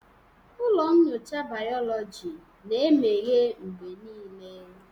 Ụlọ nyocha bayoloji na-emeghe mgbe niile.